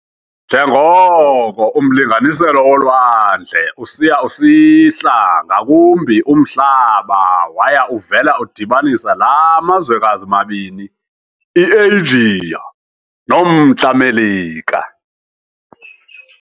Njengoko umlinganiselo wolwandle usiya usihla ngakumbi umhlaba waya uvela udibanisa la mazwekazi mabini i-Eyijiya nomntla Melika